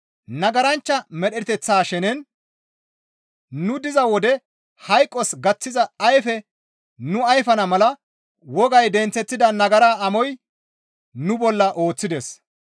Nagaranchcha medheteththa shenen nu diza wode hayqos gaththiza ayfe nu ayfana mala wogay denththeththida nagara amoy nu bolla ooththides.